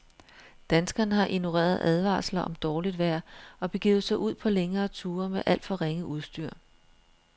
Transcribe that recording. Danskerne har ignoreret advarsler om dårligt vejr og begivet sig ud på længere ture med alt for ringe udstyr.